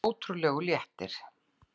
Það er ótrúlegur léttir.